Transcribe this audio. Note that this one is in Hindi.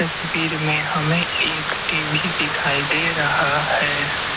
में हमे एक टी_वी दिखाई दे रहा है।